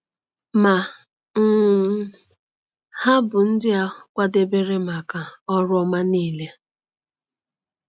Ma um ha bụ ndị a kwadebere maka ọrụ ọma niile.